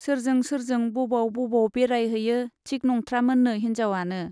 सोरजों सोरजों बबाव बबाव बेराय हैयो थिक नंथ्रामोननो हिन्जावआनो।